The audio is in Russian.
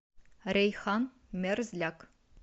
рейхан мерзляк